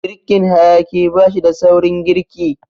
Girkin hayaƙi bashida saurin girki.